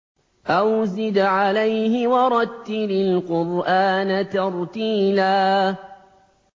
أَوْ زِدْ عَلَيْهِ وَرَتِّلِ الْقُرْآنَ تَرْتِيلًا